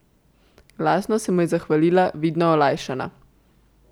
Glasno se mu je zahvalila, vidno olajšana.